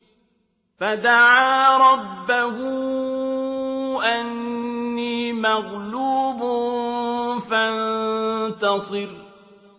فَدَعَا رَبَّهُ أَنِّي مَغْلُوبٌ فَانتَصِرْ